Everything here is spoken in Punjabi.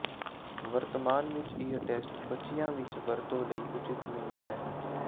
ਵਰਤਮਾਨ ਵਿੱਚ ਇਹ ਟੈਸਟ ਬੱਚਿਆਂ ਵਿੱਚ ਵਰਤੋਂ ਲਈ ਉਚਿਤ ਨਹੀਂ ਹੈ